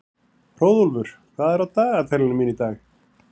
Hróðólfur, hvað er í dagatalinu í dag?